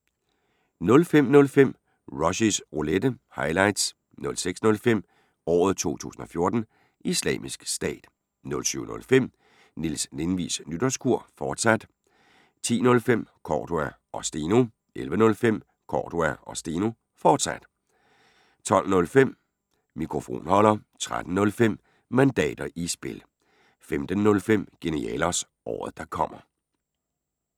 05:05: Rushys Roulette – highlights 06:05: Året 2014: Islamisk Stat 07:05: Niels Lindvigs Nytårskur, fortsat 10:05: Cordua & Steno 11:05: Cordua & Steno, fortsat 12:05: Mikrofonholder 13:05: Mandater i spil 15:05: Genialos – Året der kommer